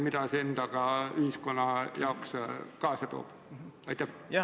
Mida see endaga ühiskonna jaoks kaasa toob?